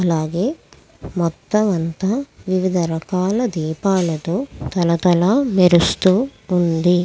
అలాగే మొత్తం అంతా వివిధ రకాల దీపాలతో తల తల మెరుస్తుంది.